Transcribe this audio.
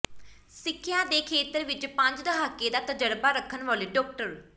ਸਿੱਖਿਆ ਦੇ ਖੇਤਰ ਵਿਚ ਪੰਜ ਦਹਾਕੇ ਦਾ ਤਜ਼ਰਬਾ ਰੱਖਣ ਵਾਲੇ ਡਾ